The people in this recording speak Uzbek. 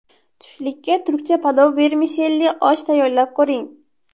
Tushlikka turkcha palov vermishelli osh tayyorlab ko‘ring.